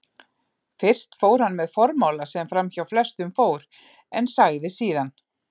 Fyrst fór hann með formála sem framhjá flestum fór, en sagði síðan